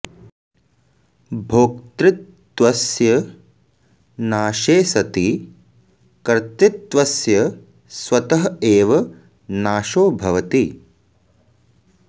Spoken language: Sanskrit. भोक्तृत्वस्य नाशे सति कर्तृत्वस्य स्वतः एव नाशो भवति